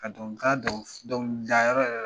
Ka dɔn ka dɔn dɔnkilidayɔrɔ yɛrɛ